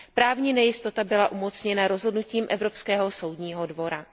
Právní nejistota byla umocněna rozhodnutím Evropského soudního dvora.